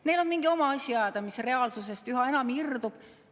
Neil on mingi oma asi ajada, mis üha enam reaalsusest irdub.